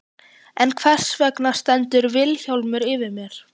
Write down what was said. En hvers vegna stendur Vilhjálmur yfir mér?